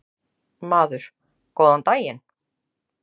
Maður: Góðan daginn.